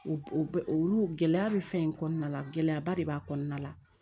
O bɛ olu gɛlɛya bɛ fɛn in kɔnɔna la gɛlɛyaba de b'a kɔnɔna la